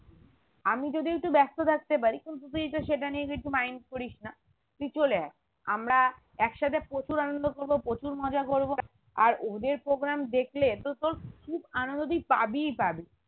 আমি যদিও একটু ব্যস্ত থাকতে পারি কিন্তু তুই তো সেটা নিয়ে কিছু mind করিসনা তুই চলে আয় আমরা একসাথে প্রচুর আনন্দ করবো প্রচুর মজা করবো আর ওদের program দেখলে এ তো তোর খুব আনন্দ তুই পাবিই পাবি